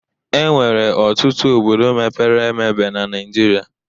Enwere ọtụtụ obodo mepere emebe na Naijiria